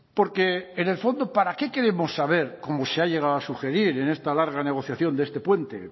porque en el fondo para qué queremos saber cómo se ha llegado a sugerir en esta larga negociación de este puente